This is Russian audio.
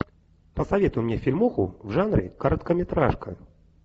посоветуй мне фильмуху в жанре короткометражка